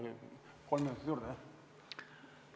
Kolm minutit juurde, jah!